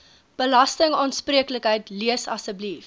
belastingaanspreeklikheid lees asseblief